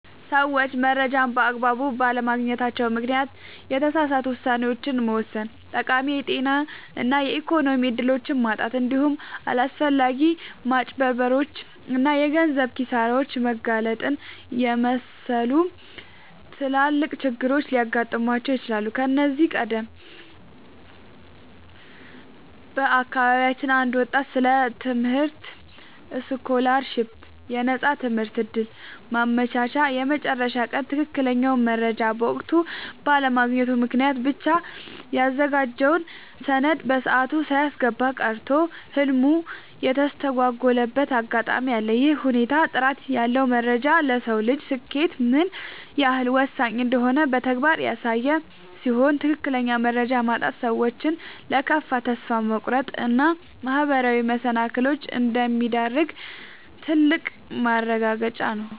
ሰዎች መረጃን በአግባቡ ባለማግኘታቸው ምክንያት የተሳሳቱ ውሳኔዎችን መወሰን፣ ጠቃሚ የጤና እና የኢኮኖሚ እድሎችን ማጣት፣ እንዲሁም ለአላስፈላጊ ማጭበርበሮች እና የገንዘብ ኪሳራዎች መጋለጥን የመሰሉ ትላልቅ ችግሮች ሊገጥሟቸው ይችላሉ። ከዚህ ቀደም በአካባቢያችን አንድ ወጣት ስለ ትምህርት ስኮላርሺፕ (የነፃ ትምህርት ዕድል) ማመልከቻ የመጨረሻ ቀን ትክክለኛውን መረጃ በወቅቱ ባለማግኘቱ ምክንያት ብቻ ያዘጋጀውን ሰነድ በሰዓቱ ሳያስገባ ቀርቶ ህልሙ የተስተጓጎለበት አጋጣሚ አለ። ይህ ሁኔታ ጥራት ያለው መረጃ ለሰው ልጅ ስኬት ምን ያህል ወሳኝ እንደሆነ በተግባር ያሳየ ሲሆን፣ ትክክለኛ መረጃ ማጣት ሰዎችን ለከፋ ተስፋ መቁረጥ እና ማህበራዊ መሰናክሎች እንደሚዳርግ ትልቅ ማረጋገጫ ነው።